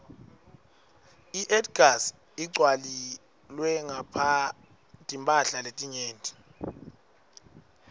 iedgas igcwaielwe timphala letinyenti